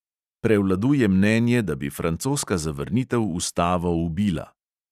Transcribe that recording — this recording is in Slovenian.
Prevladuje mnenje, da bi francoska zavrnitev ustavo ubila.